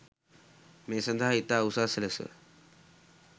මේ සඳහා ඉතා උසස් ලෙස